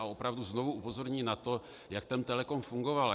A opravdu znovu upozorňuji na to, jak ten Telecom fungoval.